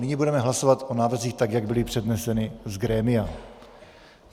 Nyní budeme hlasovat o návrzích, tak jak byly předneseny z grémia.